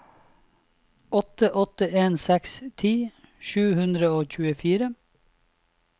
åtte åtte en seks ti sju hundre og tjuefire